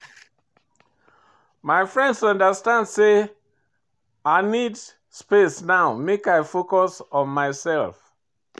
My friends understand sey I need space now make I focus on mysef.